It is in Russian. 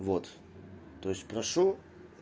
вот то есть прошу